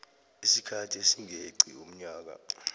isikhathi esingeqi umnyaka